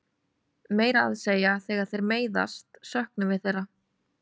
Meira að segja þegar þeir meiðast söknum við þeirra.